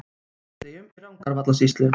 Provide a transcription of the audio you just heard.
Bær í Austur-Landeyjum í Rangárvallasýslu.